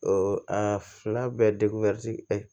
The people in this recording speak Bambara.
a fila bɛɛ